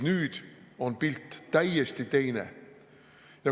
Nüüd on pilt täiesti teine.